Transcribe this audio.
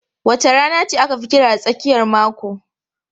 Wace rana aka fi kira da tsakiyar mako?